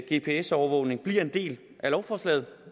gps overvågning bliver en del af lovforslaget